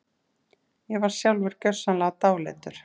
Ég var sjálfur gjörsamlega dáleiddur.